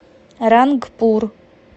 рангпур